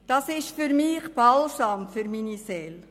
Das ist Balsam für meine Seele.